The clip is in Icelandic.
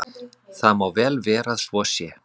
Það má vel vera að svo sé.